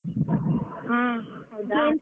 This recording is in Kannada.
ಹಾ ಹೌದಾ.